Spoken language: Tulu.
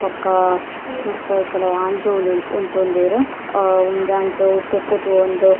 ಬೊಕ್ಕ ಮಸ್ತ್ ಕೆಲವು ಆಂಜೋವುಲು ಉಂತೊಂದೆರ್ ಅ ಒಂಜಿ ಆಂಜೋವ್ ತಿರ್ತ್ ತೂವೊಂದು.